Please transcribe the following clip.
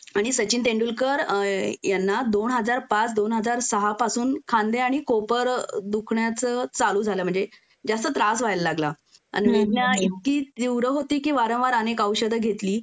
आणि सचिन तेंडुलकर यांना दोन हजार पाच दोन हजार सहा पासून खांदे आणि कोपर दुखण्याचं चालू झालं म्हणजे जास्त त्रास व्हायला लागला आणि विज्ञा इतकी त्रीव्र होती कि वारंवार अनेक औषध घेतली